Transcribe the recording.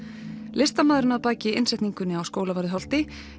listamaðurinn að baki innsetningunni á Skólavörðuholti